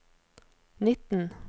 nitten